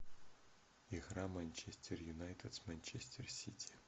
игра манчестер юнайтед с манчестер сити